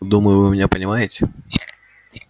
думаю вы меня понимаете